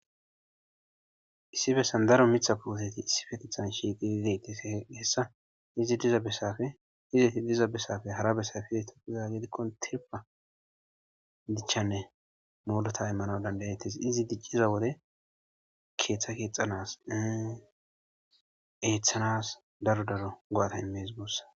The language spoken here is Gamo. Issi bessan daro mitha puhoteti issi fetethan shiiqiideyti hessa izi diza bessafe izeti diza bessafe hara bessa fizey topizagedikkon tirpa dichchanne moolota immana dandayetes izi dicciza wode keeththa keexxanas eeththanas daro daro goata imees goossa.